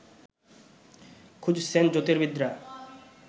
খুঁজছেন জ্যোতির্বিদরা